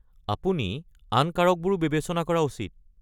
আপুনি আন কাৰকবোৰো বিবেচনা কৰা উচিত।